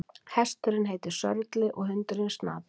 Hesturinn heitir Sörli og hundurinn Snati.